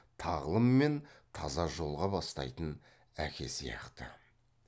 тағлым мен таза жолға бастайтын әке сияқты